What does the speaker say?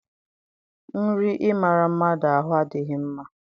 Nri ịmara mmadụ ahụ adịghị mma.